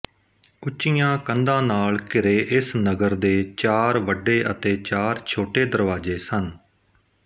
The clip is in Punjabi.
ਉੱਚੀਆਂ ਕੰਧਾਂ ਨਾਲ ਘਿਰੇ ਇਸ ਨਗਰ ਦੇ ਚਾਰ ਵੱਡੇ ਅਤੇ ਚਾਰ ਛੋਟੇ ਦਰਵਾਜ਼ੇ ਸਨ